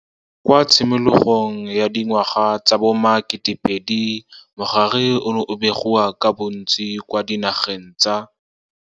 Kwa tshimologong ya di ngwaga tsa bo ma-2000 mogare ono o ne o begiwa ka bontsi kwa dinageng tsa.